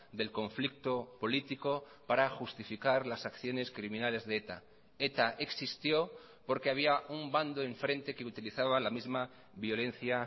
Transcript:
del conflicto político para justificar las acciones criminales de eta eta existió porque había un bando enfrente que utilizaba la misma violencia